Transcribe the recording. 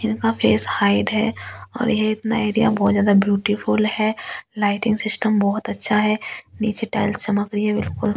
इनका face hide है और ये इतना एरिया बहुत ज्यादा ब्यूटीफुल है लाइटिंग सिस्टम बहुत अच्छा है नीचे टाइल्स चमक रही है बिल्कुल।